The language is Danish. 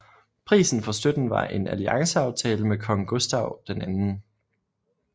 Prisen for støtten var en allianceaftale med kong Gustav 2